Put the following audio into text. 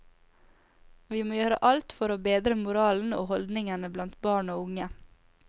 Vi må gjøre alt for å bedre moralen og holdningene blant barn og unge.